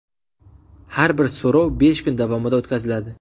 Har bir so‘rov besh kun davomida o‘tkaziladi.